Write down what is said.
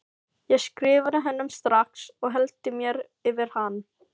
Ég skrifaði honum strax og hellti mér yfir hann.